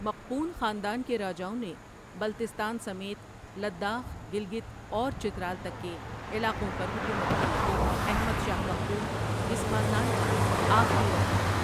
مقپون خاندان کے راجاؤں نے بلتستان سمیت لداخ، گلگت اور چترال تک کے علاقوں پر حکومت کی احمد شاہ مقپون اس خاندان کا آخری راجا تھا ۔